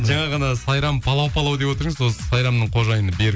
жаңа ғана сайрам палау палау деп отыр едің сол сайрамның қожайыны берік